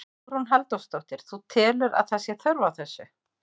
Hugrún Halldórsdóttir: Þú telur að, að það sé þörf á þessu?